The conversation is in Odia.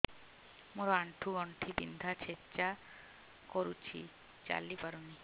ମୋର ଆଣ୍ଠୁ ଗଣ୍ଠି ବିନ୍ଧା ଛେଚା କରୁଛି ଚାଲି ପାରୁନି